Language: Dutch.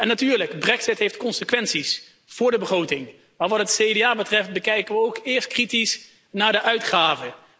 Natuurlijk heeft de brexit consequenties voor de begroting, maar wat het CDA betreft, kijken we ook eerst kritisch naar de uitgaven.